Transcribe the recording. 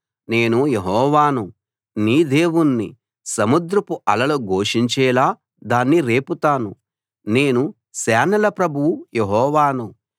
నేను యెహోవాను నీ దేవుణ్ణి సముద్రపు అలలు ఘోషించేలా దాన్ని రేపుతాను నేను సేనల ప్రభువు యెహోవాను